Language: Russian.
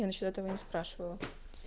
я насчёт этого не спрашивала